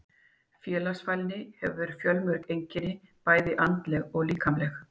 Félagsfælni hefur fjölmörg einkenni, bæði andleg og líkamleg.